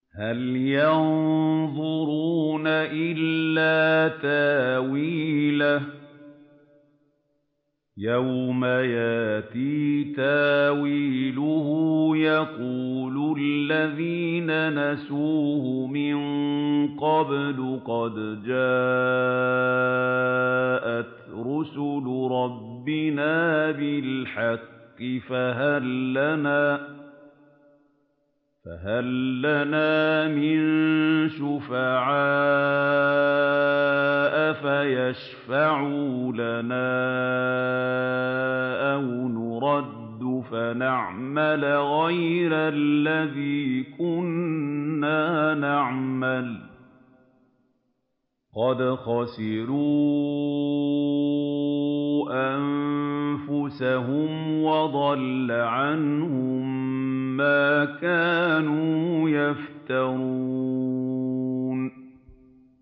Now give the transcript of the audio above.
هَلْ يَنظُرُونَ إِلَّا تَأْوِيلَهُ ۚ يَوْمَ يَأْتِي تَأْوِيلُهُ يَقُولُ الَّذِينَ نَسُوهُ مِن قَبْلُ قَدْ جَاءَتْ رُسُلُ رَبِّنَا بِالْحَقِّ فَهَل لَّنَا مِن شُفَعَاءَ فَيَشْفَعُوا لَنَا أَوْ نُرَدُّ فَنَعْمَلَ غَيْرَ الَّذِي كُنَّا نَعْمَلُ ۚ قَدْ خَسِرُوا أَنفُسَهُمْ وَضَلَّ عَنْهُم مَّا كَانُوا يَفْتَرُونَ